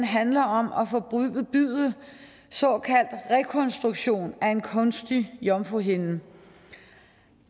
handler om at forbyde såkaldt rekonstruktion af en kunstig jomfruhinde